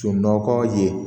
Sunɔgɔ ye